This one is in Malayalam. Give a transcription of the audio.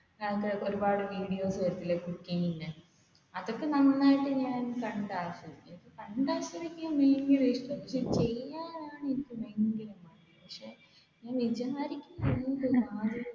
ഒരുപാട് വീഡിയോസ് വരൂലേ cooking ന്റെ അതൊക്കെ ഞാൻ നന്നായിട്ട് കണ്ടാസ്വദിക്കും